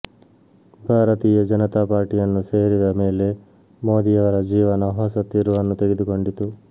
ಭಾರತೀಯ ಜನತಾ ಪಾರ್ಟಿಯನ್ನು ಸೇರಿದ ಮೇಲೆ ಮೋದಿಯವರ ಜೀವನ ಹೊಸ ತಿರುವನ್ನು ತೆಗೆದುಕೊಂಡಿತು